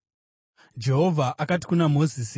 Jehovha akati kuna Mozisi,